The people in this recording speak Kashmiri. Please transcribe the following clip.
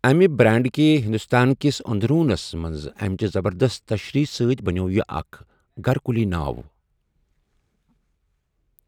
امہِ برانڈٕكہِ ہندوستان كِس اندروُنس منزامِچہِ زبردست تشریح سۭتۍ بنیوو یہِ اكھ گھركٗلی ناو ۔